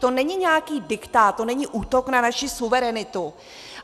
To není nějaký diktát, to není útok na naši suverenitu.